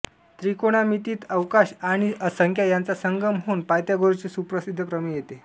त्रिकोणमितीत अवकाश आणि संख्या यांचा संगम होऊन पायथागोरसचे सुप्रसिद्ध प्रमेय येते